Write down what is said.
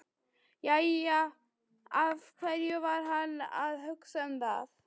Jæja, af hverju var hann að hugsa um það?